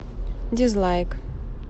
дизлайк